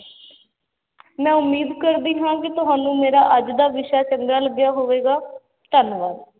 ਮੈਂ ਉਮੀਦ ਕਰਦੀ ਹਾਂ ਕਿ ਤੁਹਾਨੂੰ ਮੇਰਾ ਅੱਜ ਦਾ ਵਿਸ਼ਾ ਚੰਗਾ ਲੱਗਿਆ ਹੋਵੇਗਾ, ਧੰਨਵਾਦ।